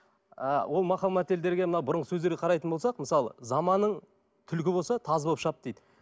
ы ол мақал мәтелдерге мына бұрынғы сөздерге қарайтын болсақ мысалы заманың түлкі болса тазы болып шап дейді